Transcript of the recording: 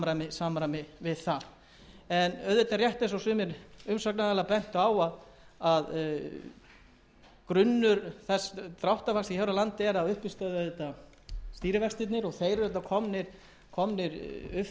samræmi við það auðvitað er rétt eins og sumir umsagnaraðilar bentu á að grunnur dráttarvaxta hér á landi er að uppistöðu stýrivextirnir og þeir eru komnir upp fyrir sársaukamörk ef svo má